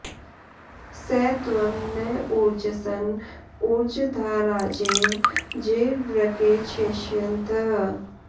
स त्वं न॑ ऊर्जसन॒ ऊर्जं॑ धा॒ राजे॑व जेरवृ॒के क्षे॑ष्य॒न्तः